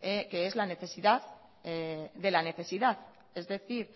que es la necesidad de la necesidad es decir